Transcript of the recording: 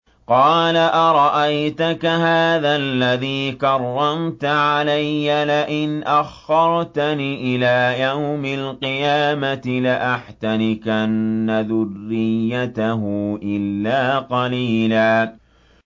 قَالَ أَرَأَيْتَكَ هَٰذَا الَّذِي كَرَّمْتَ عَلَيَّ لَئِنْ أَخَّرْتَنِ إِلَىٰ يَوْمِ الْقِيَامَةِ لَأَحْتَنِكَنَّ ذُرِّيَّتَهُ إِلَّا قَلِيلًا